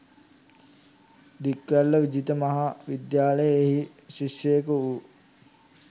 දික්වැල්ල විජිත මහා විද්‍යාලයේ එහි ශිෂ්‍යයකු වූ